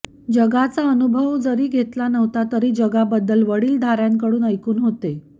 जगाचा अनुभव जरी घेतला नव्हता तरी जगाबद्दल वडीलधाऱ्यांकडून ऐकून होते